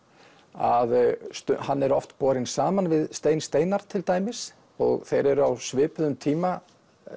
að hann er oft borinn saman við Stein Steinarr til dæmis og þeir eru á svipuðum tíma